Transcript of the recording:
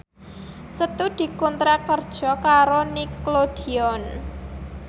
Setu dikontrak kerja karo Nickelodeon